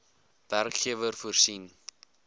werkgewer voorsien